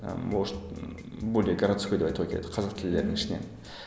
ы может более городской деп айтуға келеді қазақ тілділердің ішінен